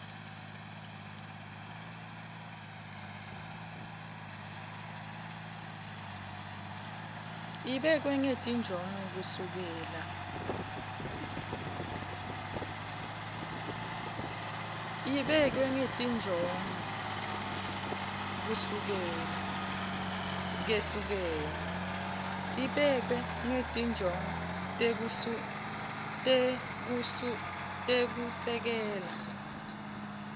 ibekwe ngetinjongo tekusekela